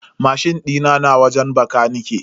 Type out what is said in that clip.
Mashin dina na wajen bakanike.